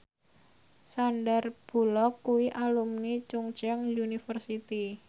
Sandar Bullock kuwi alumni Chungceong University